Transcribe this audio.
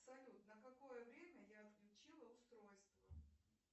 салют на какое время я отключила устройство